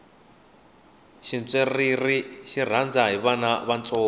xintswerere xi rhandza hi vana va ntsongo